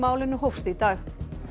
málinu hófst í dag